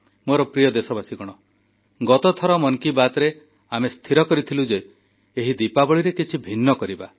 ମୋର ପ୍ରିୟ ଦେଶବାସୀ ଗତ ଥର ମନ କି ବାତ୍ରେ ଆମେ ସ୍ଥିର କରିଥିଲୁ ଯେ ଏହି ଦୀପାବଳିରେ କିଛି ଭିନ୍ନ କରିବା